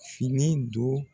Fini don